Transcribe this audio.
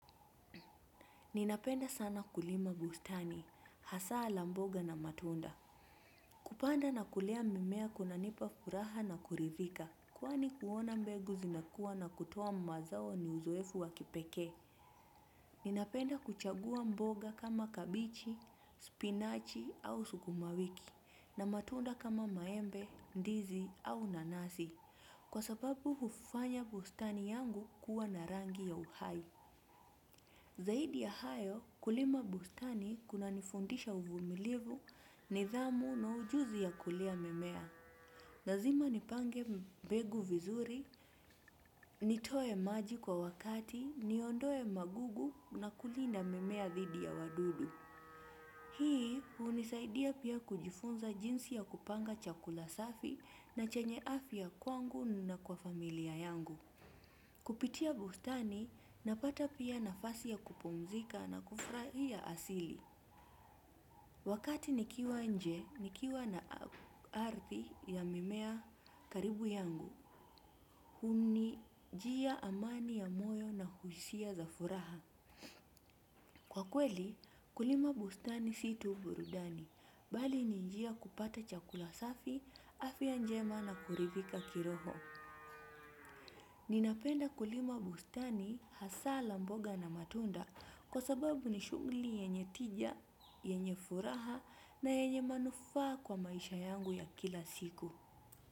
Ninapenda sana kulima bustani, hasa la mboga na matunda. Kupanda na kulea mimea kunanipa furaha na kuridhika. Kwani kuona mbegu zinakuwa na kutuoa mazao ni uzoefu wa kipekee. Ninapenda kuchagua mboga kama kabichi, spinachi au sukumawiki. Na matunda kama maembe, ndizi au nanasi. Kwa sababu hufanya bustani yangu kuwa na rangi ya uhai. Zaidi ya hayo kulima bustani kunanifundisha uvumilivu nidhamu na ujuzi ya kulea mimea. Nazima nipange mbegu vizuri, nitoe maji kwa wakati, niondoe magugu na kulinda mimea dhidi ya wadudu. Hii hunisaidia pia kujifunza jinsi ya kupanga chakula safi na chenye afya kwangu na kwa familia yangu. Kupitia bustani, napata pia nafasi ya kupumzika na kufurahia asili. Wakati nikiwa nje, nikiwa na ardhi ya mimea karibu yangu. Hunijia amani ya moyo na hisia za furaha. Kwa kweli, kulima bustani si tu burudani. Bali ni jia ya kupata chakula safi, afya njema na kuridhika kiroho. Ninapenda kulima bustani hasa la mboga na matunda kwa sababu ni shughuli yenye tija, yenye furaha na yenye manufaa kwa maisha yangu ya kila siku.